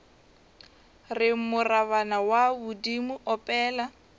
re morabana wa bodimo opela